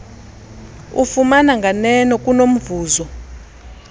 ufumana nganeno kunomvuzo